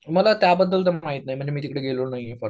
मला त्याबद्दल तर माहित नाही म्हणजे मी तिकडे गेलो नाहीये.